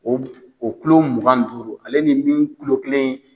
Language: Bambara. O o kulo mugan ni duuru ale nin min kulo kelen ye.